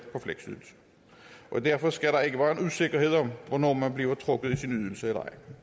fleksydelse derfor skal der ikke være en usikkerhed om hvornår man bliver trukket i sin ydelse